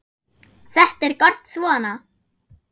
Þetta er gott svona.